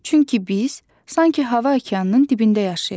Çünki biz sanki hava okeanının dibində yaşayırıq.